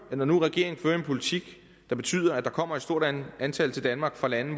når nu regeringen fører en politik der betyder at der kommer et stort antal til danmark fra lande